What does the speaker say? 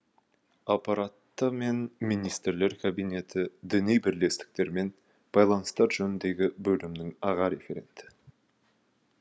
аппараты мен министрлер кабинеті діни бірлестіктермен байланыстар жөніндегі бөлімінің аға референті